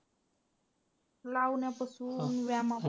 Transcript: लावण्यापासून ते व्यायामपर्यंत.